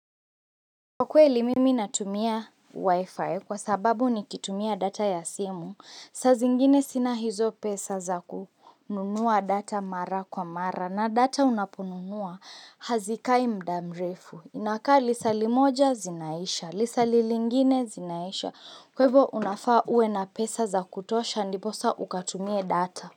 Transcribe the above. Kwa kweli mimi natumia wifi kwa sababu nikitumia data ya simu, saa zingine sina hizo pesa za kununua data mara kwa mara na data unaponunua hazikai muda mrefu, inakaa lisaa limoja zinaisha, lisaalilingine zinaisha, kwa hivyo unafaa uwe na pesa za kutosha, ndiposa ukatumie data.